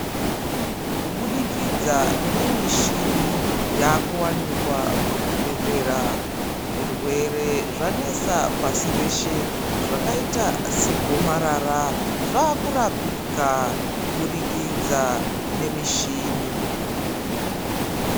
Kubudikidza nemichini yaa kuwanikwa muzvibhedlera zvirwere zvanesa pashi reshe zvakaita segomarara zvakurapika kubudikidza nemichini.